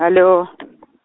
алло